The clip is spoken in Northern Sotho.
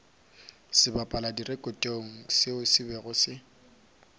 sebapaladirekotong seo se bego se